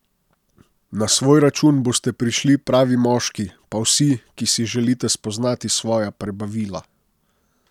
Na svoj račun boste prišli pravi moški, pa vsi, ki si želite spoznati svoja prebavila.